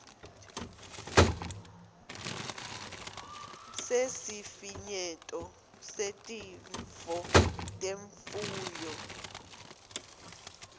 sesifinyeto setifo temfuyo